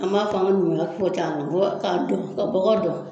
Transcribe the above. An m'a fɔ an ga numuya fo t'an na ka bɔgɔ dɔn